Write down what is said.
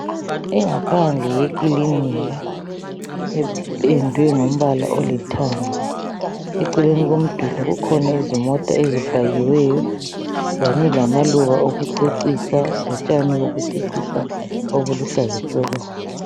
Ingaphandle yekilinika ependwe ngombala olithanga eceleni komduli kukhona izimota ezipakiweyo kanye lamaluba okucecisa lotshani bokucecisa obuluhlaza tshoko.